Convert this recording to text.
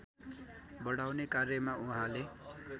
बढाउने कार्यमा उहाँले